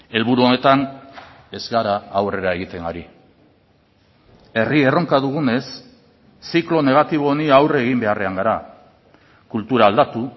helburu honetan ez gara aurrera egiten ari herri erronka dugunez ziklo negatibo honi aurre egin beharrean gara kultura aldatu